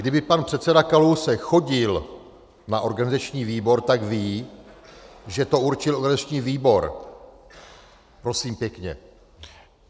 Kdyby pan předseda Kalousek chodil na organizační výbor, tak ví, že to určil organizační výbor, prosím pěkně.